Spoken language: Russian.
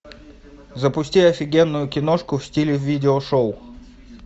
запусти офигенную киношку в стиле видео шоу